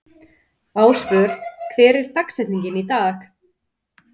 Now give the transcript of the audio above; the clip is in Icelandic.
Ásvör, hver er dagsetningin í dag?